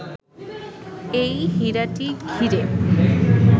এই হীরাটি ঘিরে